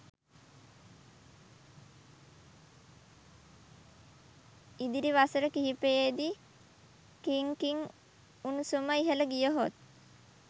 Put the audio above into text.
ඉදිරි වසර කිහිපයේදී ඛිං කින් උණුසුම ඉහළ ගියහොත්